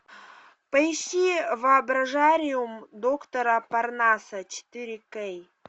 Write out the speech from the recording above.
поищи воображариум доктора парнаса четыре к